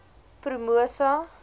promosa